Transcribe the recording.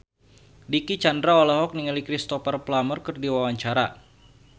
Dicky Chandra olohok ningali Cristhoper Plumer keur diwawancara